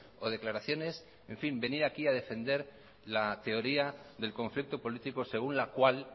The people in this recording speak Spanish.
o declaraciones en fin venir aquí a defender la teoría del conflicto político según la cual